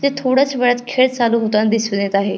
ते थोड्याच वेळात खेळ चालु होताना दिसुन येत आहे.